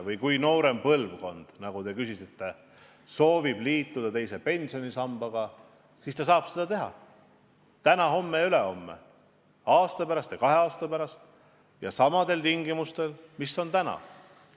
Kui noorem põlvkond soovib liituda teise pensionisambaga, siis ta saab seda teha kas täna, homme, ülehomme, aasta pärast ja kahe aasta pärast ja samadel tingimustel, mis on täna.